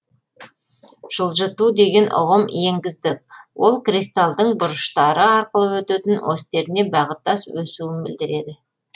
жылжыту деген ұғым енгіздік ол кристалдың бұрыштары арқылы өтетін осьтеріне бағыттас өсуін білдіреді